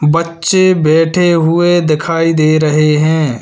बच्चे बैठे हुए दिखाई दे रहे हैं।